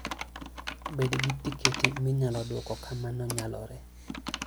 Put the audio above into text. Bed gi tiketi minyalo duok ka mano nyalore.